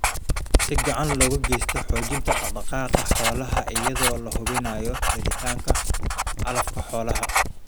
Si gacan looga geysto xoojinta dhaq-dhaqaaqa xoolaha iyadoo la hubinayo helitaanka calafka xoolaha.